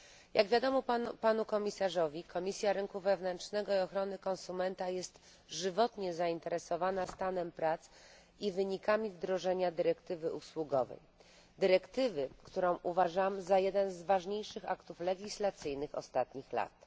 Jak wiadomo Panu Komisarzowi Komisja Rynku Wewnętrznego i Ochrony Konsumentów jest żywotnie zainteresowana stanem prac i wynikami wdrożenia dyrektywy usługowej, dyrektywy, którą uważam za jeden z ważniejszych aktów legislacyjnych ostatnich lat.